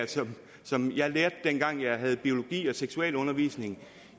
som jeg lærte dengang jeg havde biologi og seksualundervisning